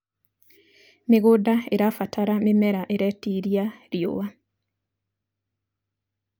mĩgũnda irabatara mĩmera iretĩĩria riũa